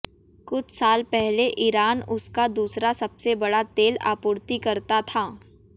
कुछ साल पहले ईरान उसका दूसरा सबसे बड़ा तेल आपूर्तिकर्ता था